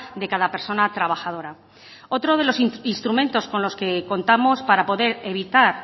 de cada persona trabajadora otro de los instrumentos con los que contamos para poder evitar